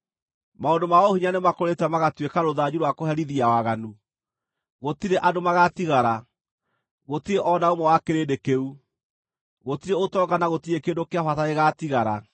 Maũndũ ma ũhinya nĩmakũrĩte magatuĩka rũthanju rwa kũherithia waganu; gũtirĩ andũ magaatigara, gũtirĩ o na ũmwe wa kĩrĩndĩ kĩu; gũtirĩ ũtonga, na gũtirĩ kĩndũ kĩa bata gĩgaatigara.